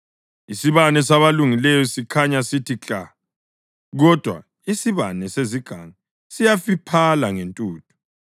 Isibane sabalungileyo sikhanya sithi kla! Kodwa isibane sezigangi siyafiphala ngentuthu.